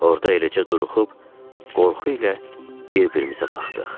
Orda eləcə duruxub, qorxu ilə bir-birimizə baxdıq.